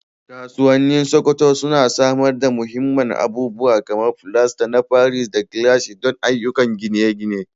Kasuwannin Sokoto suna samar da muhimman abubuwa kamar filasta na paris da gilashin don ayyukan gine-gine.